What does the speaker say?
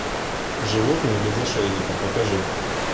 животные без ошейника покажи